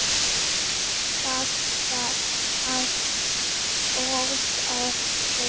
Það var allt óþarfi.